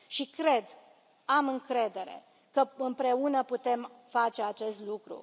Cred, am încredere că împreună putem face acest lucru.